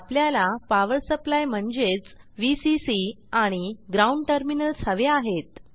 आपल्याला power supply म्हणजेच VCC आणि ग्राउंड टर्मिनल्स हवे आहेत